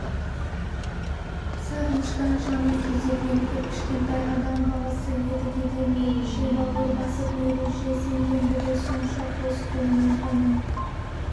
сағыныштан жаны күйзелген кіп-кішкентай адам баласы едігеге мейлінше бауыр басып мейлінше сенгендігі сонша қос қолымен оның